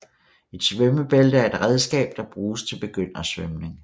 Et svømmebælte er et redskab der bruges til begyndersvømning